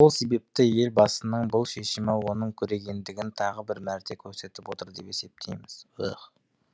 сол себепті елбасының бұл шешімі оның көрегендігін тағы бір мәрте көрсетіп отыр деп есептейміз